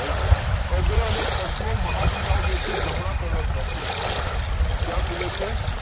Right અગ્ર અને પશ્વ મહાશીલાઓ છે જે જમણા કર્ણક માં ખુલે છે ક્યાં ખુલે છે?